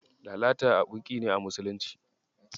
Lalata abun ƙi ne a musulunci.